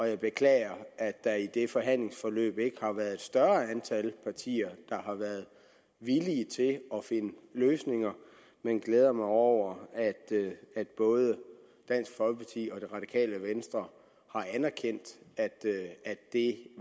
jeg beklager at der i det forhandlingsforløb ikke har været et større antal partier der har været villige til at finde løsninger men glæder mig over at både dansk folkeparti og det radikale venstre har anerkendt at det